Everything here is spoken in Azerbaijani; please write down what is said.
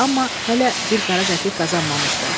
Amma hələ bir qara qəpik qazanmamışdı.